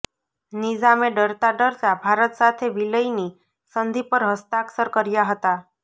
નિઝામે ડરતા ડરતા ભારત સાથે વિલયની સંધિ પર હસ્તાક્ષર કર્યા હતાં